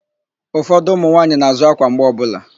Ụfọdụ ụmụnwaanyị na-àzụ́ ákwà mgbe ọbụla.